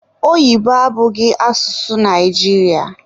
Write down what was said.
Oyibo abụghị asụsụ Naijiria